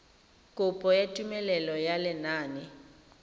kopo ya tumelelo ya lenane